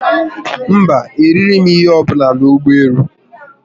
Mba, erịghi m ihe ọbụla n'ụgbọelu